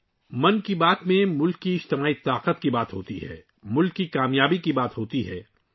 'من کی بات' میں ملک کی اجتماعی قوت اور ملک کی کامیابیوں کی بات ہوتی ہے